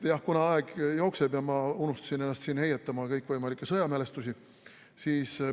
Jah, aeg jookseb ja ma unustasin ennast heietama kõikvõimalikke sõjamälestusi.